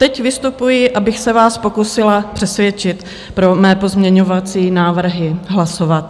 Teď vystupuji, abych se vás pokusila přesvědčit pro mé pozměňovací návrhy hlasovat.